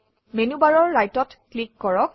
মেনুবাৰৰ Write অত click কৰক